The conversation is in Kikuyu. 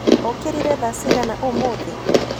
Ũkĩrire thaa cĩĩgana ũmũthĩ?